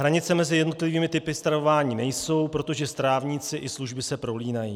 Hranice mezi jednotlivými typy stravování nejsou, protože strávníci i služby se prolínají.